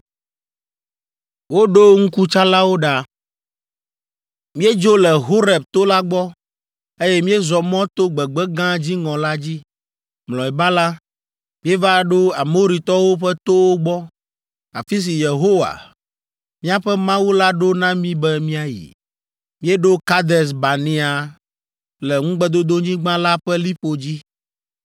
Míedzo le Horeb to la gbɔ, eye míezɔ mɔ to gbegbe gã dziŋɔ la dzi. Mlɔeba la, míeva ɖo Amoritɔwo ƒe towo gbɔ, afi si Yehowa, míaƒe Mawu la ɖo na mí be míayi. Míeɖo Kades Barnea le Ŋugbedodonyigba la ƒe liƒo dzi.